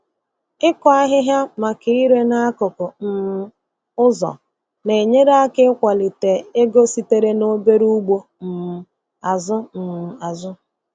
Ịkụ ahịhịa maka ire n'akụkụ um ụzọ na-enyere aka ịkwalite ego sitere n'obere ugbo um azụ um azụ.